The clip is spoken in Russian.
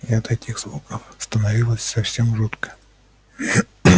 и от этих звуков становилось совсем жутко